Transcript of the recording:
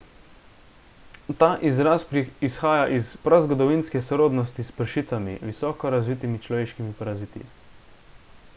ta izraz izhaja iz prazgodovinske sorodnosti s pršicami visoko razvitimi človeškimi paraziti